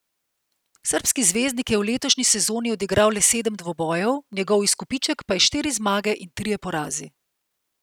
Srbski zvezdnik je v letošnji sezoni odigral le sedem dvobojev, njegov izkupiček pa je štiri zmage in trije porazi.